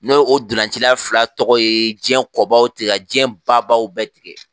Ne o donlanci fila tɔgɔ ye jiɲɛ kɔbaw tigɛ ka jiɲɛ babaw bɛɛ tigɛ